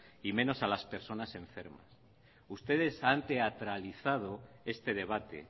y menos a las personas enfermas ustedes han teatralizado este debate